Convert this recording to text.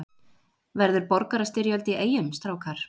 Verður borgarastyrjöld í Eyjum strákar?